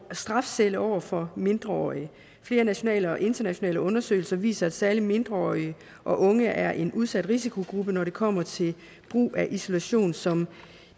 strafcelle over for mindreårige flere nationale og internationale undersøgelser viser at særlig mindreårige og unge er en udsat risikogruppe når det kommer til brug af isolation som